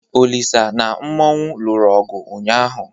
Olisa na Mmanwu lụrụ ọgụ ụnyaahụ.